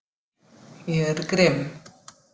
Ég er grimm.